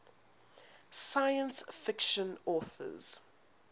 science fiction authors